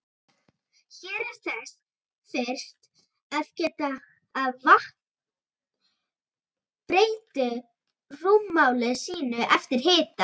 Hér er þess fyrst að geta að vatn breytir rúmmáli sínu eftir hita.